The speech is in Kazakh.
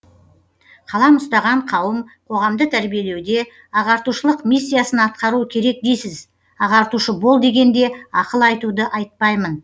қалам ұстаған қауым қоғамды тәрбиелеуде ағартушылық миссиясын атқаруы керек дейсіз ағартушы бол дегенде ақыл айтуды айтпаймын